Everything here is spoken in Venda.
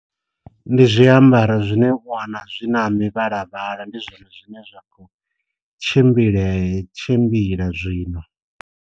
Ndi zwiambaro zwine u wana zwi na mivhalavhala ndi zwone zwine zwakho tshimbile tshimbila zwino.